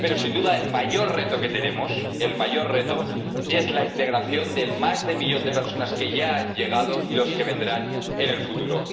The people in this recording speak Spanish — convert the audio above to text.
Pero, sin duda, el mayor reto que tenemos —el mayor reto— es la integración del más de millón de personas que ya ha llegado, y de las que vendrán en el futuro.